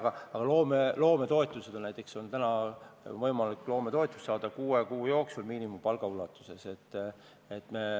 Näiteks on loometoetused, täna on võimalik saada loometoetust kuue kuu jooksul miinimumpalga ulatuses.